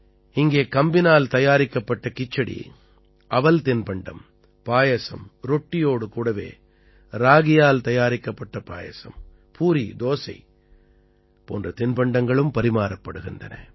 இங்கே கம்பினால் தயாரிக்கப்பட்ட கிச்சடி அவல் தின்பண்டம் பாயசம் ரொட்டியோடு கூடவே ராகியால் தயாரிக்கப்பட்ட பாயசம் பூரி தோசை போன்ற தின்பண்டங்களும் பரிமாறப்படுகின்றன